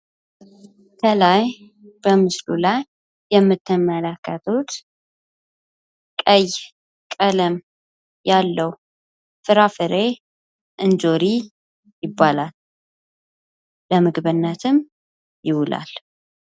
ከላይ በምስሉ ላይ የምትመለከቱት ቀይ ቀለም ያለው ፍራፍሬ እንጆሪ ይባላል። ለምግብነት ይውላል ።